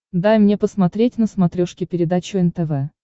дай мне посмотреть на смотрешке передачу нтв